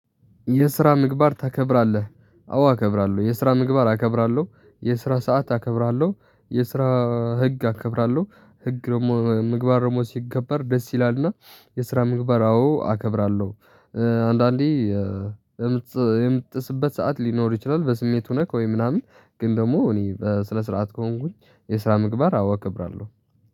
የስራ ምግባር ታከብራለህ? አዎ አከብራለሁ። የስራ ምግባር አከብራለሁ። የስራ ሰዓት አከብራለሁ። የስራ አአ ህግ አከብራለሁ። ህግ ደግሞ ምግባር ደግሞ ሲከበር ደስ ይላል ና። የስራ ምግባር አዎ አከብራለሁ። እእ አንዳንዴ እእ የምትጽ የምትጥስበት ሰዓት ሊኖር ይችላል በስሜት ነክ ወይም ምናምን። ግን ደግሞ እኔ በስነ ስርዓት ከሆንኩኝ የስራ ምግባር አዎ አከብራለሁ